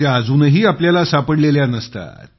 त्या अजूनही आपल्याला सापडलेल्या नसतात